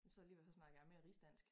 Så alligevel snakker jeg mere rigsdansk